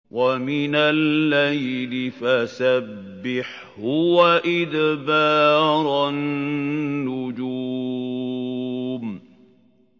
وَمِنَ اللَّيْلِ فَسَبِّحْهُ وَإِدْبَارَ النُّجُومِ